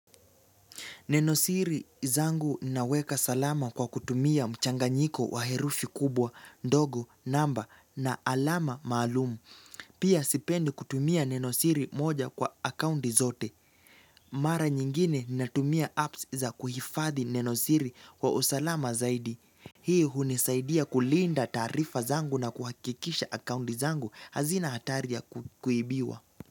Nenosiri zangu naweka salama kwa kutumia mchanga nyiko wa herufi kubwa, dogo, namba na alama maalum. Pia sipendi kutumia nenosiri moja kwa akaunti zote. Mara nyingine na tumia apps za kuhifadhi nenosiri kwa usalama zaidi. Hii hunisaidia kulinda taarifa zangu na kuhakikisha akaunti zangu hazina hatari ya kuibiwa.